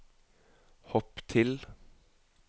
hopp til